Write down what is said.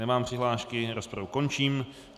Nemám přihlášky, rozpravu končím.